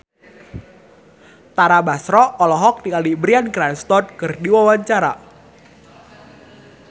Tara Basro olohok ningali Bryan Cranston keur diwawancara